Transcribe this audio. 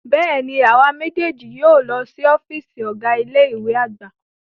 Bẹ́ẹ̀ni, awa mejeeji yóò lọ si ọfiisi Ọga ile-iwe agba